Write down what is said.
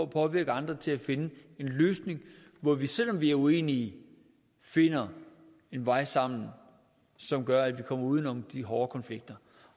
påvirke andre til at finde en løsning hvor vi selv om vi er uenige finder en vej sammen som gør at vi kommer uden om de hårde konflikter